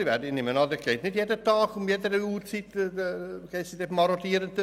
Ich nehme an, dort gehen Marodierende nicht jeden Tag und zu jeder Uhrzeit durch.